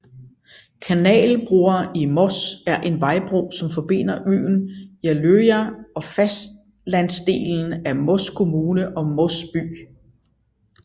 Kanalbrua i Moss er en vejbro som forbinder øen Jeløya og fastlandsdelen af Moss kommune og Moss by